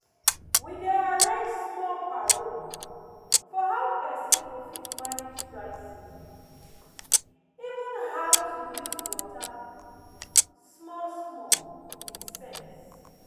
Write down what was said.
we dey arrange small small paro for how pesin go fit manage dry season even how how to dey use water small small with sense